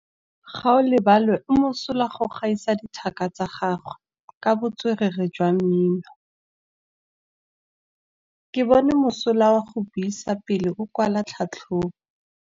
Gaolebalwe o mosola go gaisa dithaka tsa gagwe ka botswerere jwa mmino. Ke bone mosola wa go buisa pele o kwala tlhatlhobô.